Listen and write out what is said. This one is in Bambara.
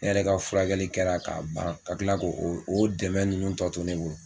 Ne yɛrɛ ka furakɛli kɛra k'a ban ka kila ko o o dɛmɛ ninnu tɔ to ne bolo.